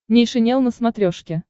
нейшенел на смотрешке